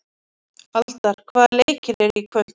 Aldar, hvaða leikir eru í kvöld?